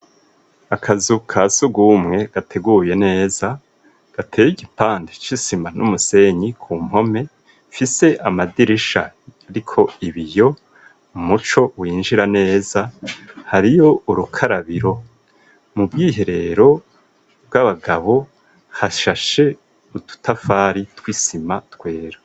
Akazu ka sugumwe gateguye neza gateye igipande c'isima n'umusenyi ku mpome ifise amadirisha ariko ibiyo umuco winjira neza hariyo urukarabiro mu bwiherero bw'abagabo hashashe ututafari tw'isima twera.